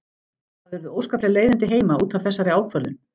Það urðu óskapleg leiðindi heima út af þessari ákvörðun.